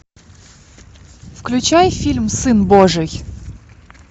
включай фильм сын божий